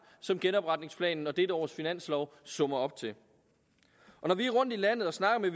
som genopretningsplanen og dette års finanslov summer op til når vi er rundt i landet og snakker med